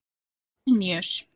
Vilníus